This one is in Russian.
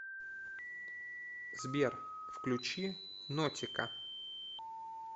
сбер включи нотика